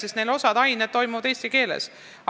Sellepärast nad õpivadki osa aineid eesti keeles.